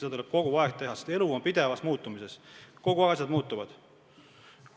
Seda tuleb teha kogu aeg, sest elu on pidevas muutumises, asjad muutuvad.